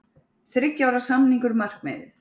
Þriggja ára samningar markmiðið